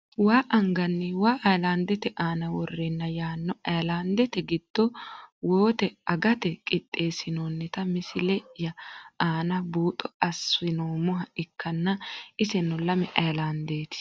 Waa angani waa ayilandete aana woreena yaano ayilandete giddo wote agate qixeesinoonita misileye aana buuxo asinoomoha ikanna iseno lame ayilandeeti.